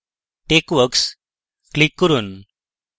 texworks click করুন